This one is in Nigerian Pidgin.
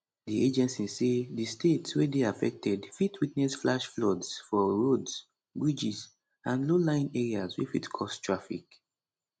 di agency say di state wey dey affected fit witness flash floods for roads bridges and lowlying areas wey fit cause traffic